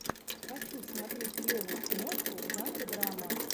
хочу смотреть клевую киношку в жанре драма